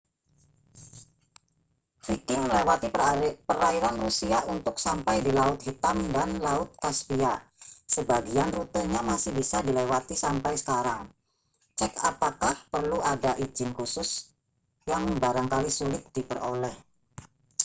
viking melewati perairan rusia untuk sampai di laut hitam dan laut kaspia sebagian rutenya masih bisa dilewati sampai sekarang cek apakah perlu ada izin khusus yang barangkali sulit diperoleh